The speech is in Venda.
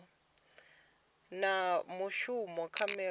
na mushumo kha miraḓo ya